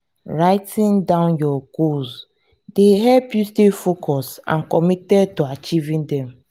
writing down down your goals dey help you stay focused and committed to achieving dem.